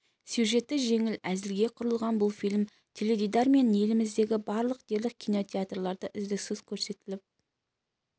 сюжеті жеңіл әзілге құрылған бұл фильм теледидар мен еліміздегі барлық дерлік кинотеатрларда үздіксіз көрсетіліп